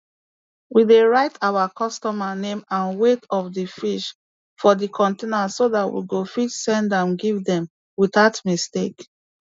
we dey write our customer name and weight of d fish for d container so dat we go fit send am give dem without mistake